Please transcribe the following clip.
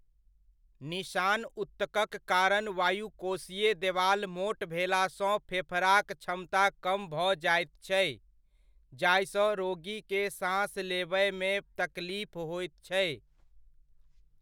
निशान ऊतकक कारण वायुकोशीय देवाल मोट भेलासँ फेफड़ाक क्षमता कम भऽ जाइत छै, जाहिसँ रोगीकेँ साँस लेबयमे तकलीफ होइत छै।